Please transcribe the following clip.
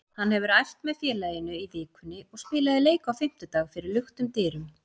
Hann hefur æft með félaginu í vikunni og spilaði leik á fimmtudag fyrir luktum dyrum.